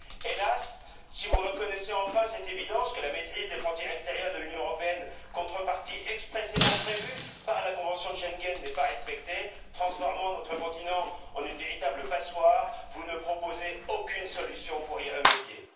Hélas, si vous reconnaissez enfin l'évidence que la maîtrise des frontières extérieures de l'Union européenne, contrepartie expressément prévue par la convention de Schengen, n'est pas respectée, ce qui transforme notre continent en une véritable passoire, vous ne proposez aucune solution pour y remédier.